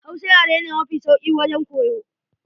Hausa yare ne mafi sauki wajen koyo.